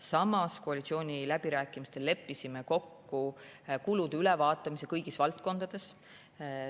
Samas me leppisime koalitsiooniläbirääkimistel kokku kulude ülevaatamise kõigis valdkondades.